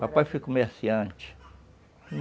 Papai foi comerciante.